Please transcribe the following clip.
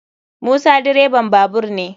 Musa direban babur ne.